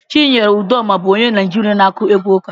Chinyere Udoma bụ onye Naijiria na-akụ egwu ụka.